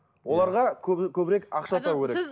оларға көбірек ақша табу керек